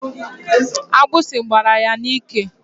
Agbịsị gbara ya n'ike.